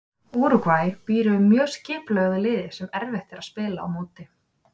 Úrúgvæ býr yfir mjög skipulögðu liði sem erfitt er að spila á móti.